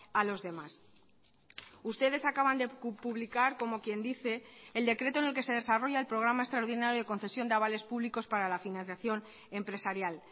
a los demás ustedes acaban de publicar como quien dice el decreto en el que se desarrolla el programa extraordinario de concesión de avales públicos para la financiación empresarial